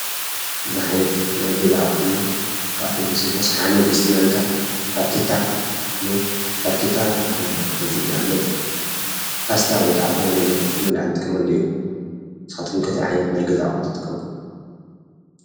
ብዙሕ ዓይነት ናይ ገዛ ኣቅሑ እንሄው። ካብኣቶም ተወሲድና ሸሓነ፣ ድስቲ፣ ማንካ፣ ፋርኬታ እንሄው ፋረኬታ ንኣብነት ፓስታ ወይ ዝኮነ ነገር ንምብላዕ እንጥቀመሉ እዩ፡፡ ንስካትኩም ከ እንታይ ዓይነት ናይ ገዛ ኣቅሑ ትጥቀሙ?